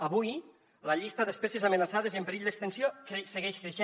avui la llista d’espècies amenaçades i en perill d’extinció segueix creixent